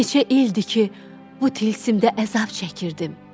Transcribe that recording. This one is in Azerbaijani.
Neçə ildir ki, bu tilsimdə əzab çəkirdim.